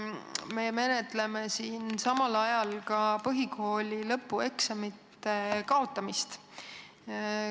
Me menetleme siin samal ajal ka põhikooli lõpueksamite kaotamist.